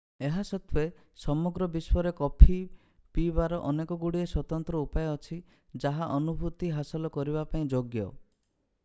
ଏହା ସତ୍ତ୍ୱେ ସମଗ୍ର ବିଶ୍ୱରେ କଫି ପିଇବାର ଅନେକଗୁଡ଼ିଏ ସ୍ୱତନ୍ତ୍ର ଉପାୟ ଅଛି ଯାହା ଅନୁଭୂତି ହାସଲ କରିବା ପାଇଁ ଯୋଗ୍ୟ